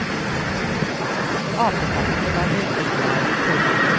Apekattene var veldig glad i purre.